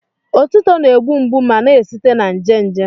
Otuto na-egbu mgbu ma na-esite na nje nje.